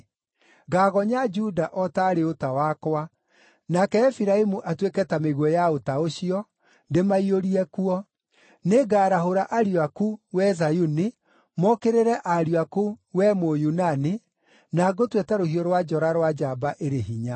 Ngaagonya Juda o taarĩ ũta wakwa, nake Efiraimu atuĩke ta mĩguĩ ya ũta ũcio, ndĩmaiyũrie kuo. Nĩngarahũra ariũ aku, wee Zayuni, mokĩrĩre ariũ aku wee Mũyunani, na ngũtue ta rũhiũ rwa njora rwa njamba ĩrĩ hinya.